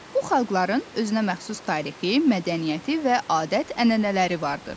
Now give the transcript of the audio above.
Bu xalqların özünəməxsus tarixi, mədəniyyəti və adət-ənənələri vardır.